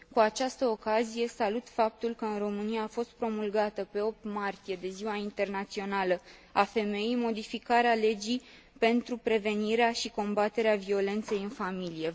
Cu această ocazie, salut faptul că, în România, a fost promulgată, pe 8 martie, de Ziua Internațională a Femeii, modificarea legii pentru prevenirea și combaterea violenței în familie.